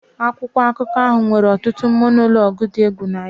Akwụkwọ akụkọ ahụ nwere ọtụtụ monologues dị egwu na ya